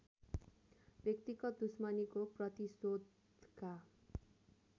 व्यक्तिगत दुश्मनीको प्रतिशोधका